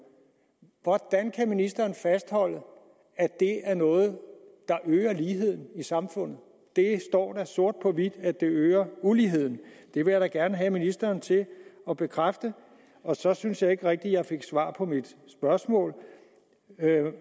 hvordan kan ministeren fastholde at det er noget der øger ligheden i samfundet der står sort på hvidt at det øger uligheden det vil jeg da gerne have ministeren til at bekræfte og så synes jeg ikke rigtig jeg fik svar på mit spørgsmål